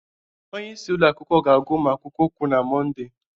Onye isi ụlọ akwụkwọ ga agwa ụmụ akwụkwọ okwu na Monde